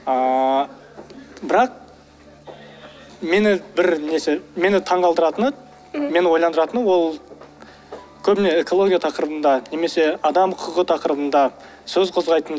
ыыы бірақ мені бір несі мені таңғалдыратыны мені ойландыратыны ол көбіне экология тақырыбында немесе адам құқығы тақырыбында сөз қозғайтын